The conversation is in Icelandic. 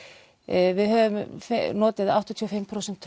við höfum notið áttatíu og fimm prósent